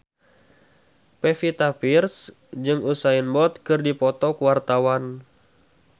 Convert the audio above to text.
Pevita Pearce jeung Usain Bolt keur dipoto ku wartawan